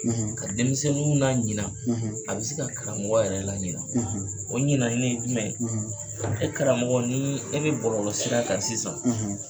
ka denmisɛnninw na ɲina, a be se ka karamɔgɔ yɛrɛ laɲina. o ɲinani ye jumɛn ye ? e karamɔgɔ nii e be bɔlɔlɔ sira kan sisan